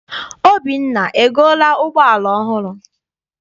Obinna egoola ụgbọala ọhụrụ?